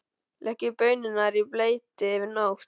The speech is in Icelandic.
Leggið baunirnar í bleyti yfir nótt.